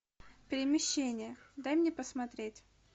перемещение дай мне посмотреть